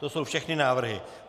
To jsou všechny návrhy.